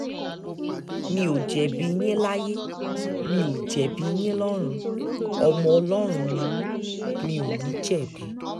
mi ò jẹ̀bi yín láyé mi ò jẹ̀bi yín lọ́rùn ọmọ ọlọ́run ni mi mi ò ní jẹ̀bi